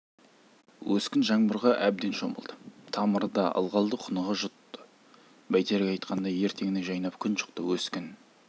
өскін жаңбырға әбден шомылды тамыры да ылғалды құныға жұтты бәйтерек айтқандай ертеңіне жайнап күн шықты өскін